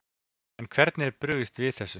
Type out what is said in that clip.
En hvernig er brugðist við þessu?